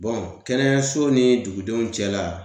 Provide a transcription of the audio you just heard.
Bɔn kɛnɛyaso ni dugudenw cɛla